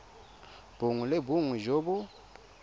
bongwe le bongwe jo bo